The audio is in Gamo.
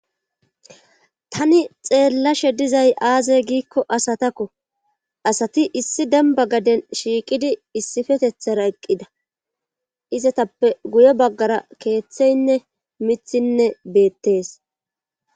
tani xeellashe dizay aazey giikko asatakko asati issi demba gaden shiiqidi issifetethara eqqida izatappe guye baggara keeththeynne mithinne beettees